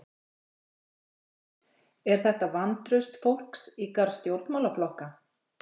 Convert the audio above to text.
Höskuldur: Er þetta vantraust fólks í garð stjórnmálaflokka?